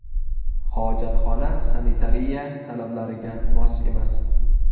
Hojatxona sanitariya talablariga mos emas.